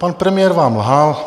Pan premiér vám lhal.